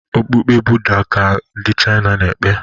Okpukpe Buddha ka ndi China n' ekpe